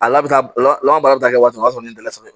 A labta la baara bɛ taa waati o y'a sɔrɔ ne dala sa